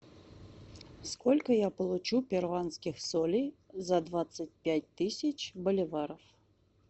сколько я получу перуанских солей за двадцать пять тысяч боливаров